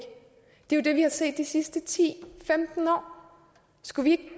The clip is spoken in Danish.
det er jo det vi har set de sidste ti til femten år skulle vi